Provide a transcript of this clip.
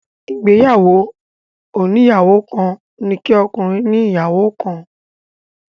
Ìgbéyàwó oníyàwó kan ni kí ọkùnrin ní ìyàwó kan.